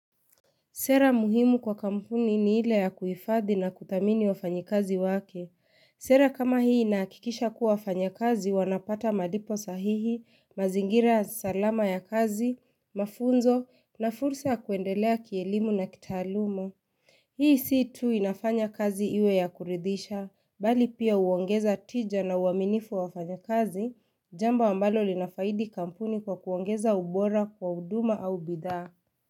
Sera muhimu kwa kampuni ni ile ya kuhifadhi na kudhamini wafanyikazi wake. Sera kama hii inahakikisha kuwa wafanyikazi wanapata malipo sahihi, mazingira salama ya kazi, mafunzo na fursa ya kuendelea kielimu na kitaaluma. Hii si tu inafanya kazi iwe ya kuridhisha, bali pia uongeza tija na uaminifu wa fanyikazi, jambo ambalo linafaidi kampuni kwa kuongeza ubora kwa huduma au bidhaa.